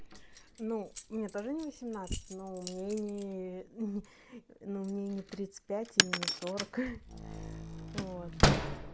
ну мне тоже не восемнадцать но мне не не ну мне не тридцать пять и не сорок вот